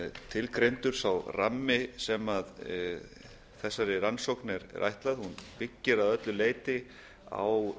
tilgreindur sá rammi sem þessari rannsókn er ætlaður hún byggir að öllu leyti á